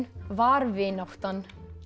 var vináttan